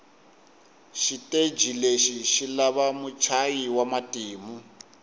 shiteji leshi shilava mutshayi wamatimu